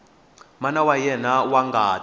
mana wa yena wa ngati